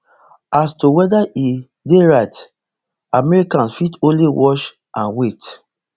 as to weda e dey right americans fit only watch and wait